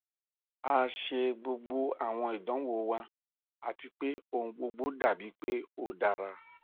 a ṣe gbogbo awọn idanwo wa ati pe ohun gbogbo dabi pe o dara